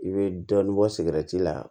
I bɛ dɔɔnin bɔ sigɛriti la